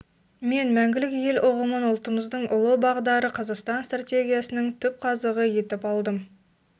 мен мәңгілік ел ұғымын ұлтымыздың ұлы бағдары қазақстан стратегиясының түпқазығы етіп алдым